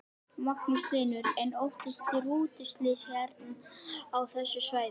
Magnús Hlynur: En óttist þið rútuslys hérna á þessu svæði?